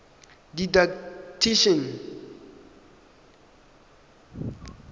didactician